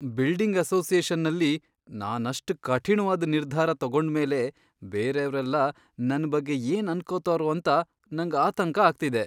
Building ಅಸೋಸಿಯೇಷನಲ್ಲಿ ನಾನಷ್ಟ್ ಕಠಿಣ್ವಾದ್ ನಿರ್ಧಾರ ತಗೊಂಡ್ಮೇಲೆ ಬೇರೇವ್ರೆಲ್ಲ ನನ್ ಬಗ್ಗೆ ಏನ್ ಅನ್ಕೊತಾರೋ ಅಂತ ನಂಗ್ ಆತಂಕ ಆಗ್ತಿದೆ.